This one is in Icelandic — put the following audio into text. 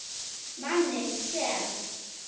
Manninn sem.